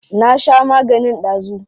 Na sha maganin dazu.